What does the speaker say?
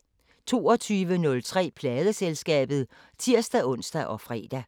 22:03: Pladeselskabet (tir-ons og fre)